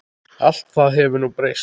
Allt það hefur nú breyst.